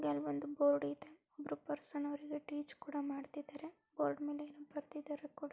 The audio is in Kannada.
ಮೇಲ್ ಒಂದು ಬೋರ್ಡ್ ಇದೆ ಒಬ್ರು ಪರ್ಸನ್ ಅವರಿಗೆ ಟೀಚ್ ಕೂಡ ಮಾಡ್ತಿದಾರೆ. ಬೋರ್ಡ್ ಮೇಲೆ ಏನೋ ಬರ್ದಿದಾರೆ ಕೂ --